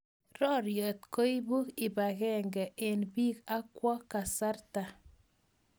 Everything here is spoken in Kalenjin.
Roriet koipung ipangenge eng pik ak kwang kasarta.